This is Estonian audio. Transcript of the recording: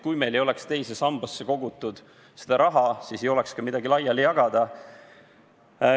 Kui meil ei oleks teise sambasse kogutud raha, siis ei oleks ka midagi laiali jagada.